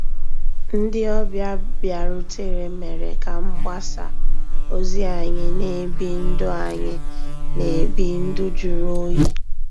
Ndị́ ọ̀bịá bìàrùtérè mérè ká mgbàsá òzí ànyị́ ná-èbí ndụ́ ànyị́ ná-èbí ndụ́ jụ̀rụ́ òyì.